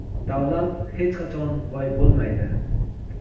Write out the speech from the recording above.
davlat hech qachon boy bo‘lmaydi.